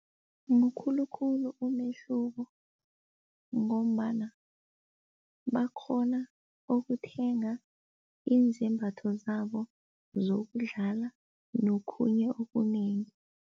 Mukhulu khulu umehluko ngombana bakghona ukuthenga izembatho zabo zokudlala nokhunye okunengi.